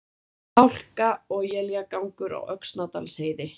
Hálka og éljagangur á Öxnadalsheiði